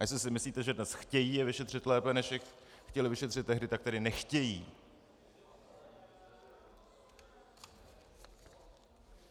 A jestli si myslíte, že dnes chtějí je vyšetřit lépe, než je chtěli vyšetřit tehdy, tak tedy nechtějí.